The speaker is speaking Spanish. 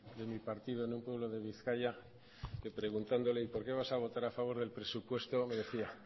de mi partido en un pueblo de bizkaia que preguntándole y por qué vas a votar del presupuesto me decía